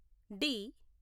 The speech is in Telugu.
డి